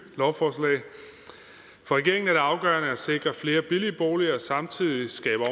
lovforslag for regeringen er det afgørende at sikre flere billige boliger og samtidig skabe